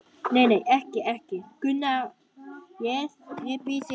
Nei, nei, ekki, ekki, Gunnar, ég bið þig.